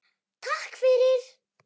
Takk fyrir.